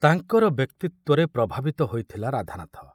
ତାଙ୍କର ବ୍ୟକ୍ତିତ୍ୱରେ ପ୍ରଭାବିତ ହୋଇଥିଲା ରାଧାନାଥ।